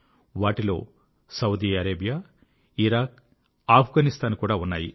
వాటిలో Saudi Arabia Iraq మరియు ఆఫ్ఘనిస్తాన్ కూడా ఉన్నాయి